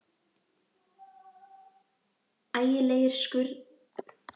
Ægilegir skruðningar og brestir heyrðust á línunni.